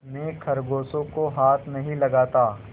मैं खरगोशों को हाथ नहीं लगाता